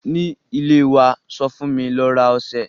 Ní ilẹ̀ wa sọ fún mi ló rà oṣẹ̀